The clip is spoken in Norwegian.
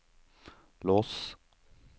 lås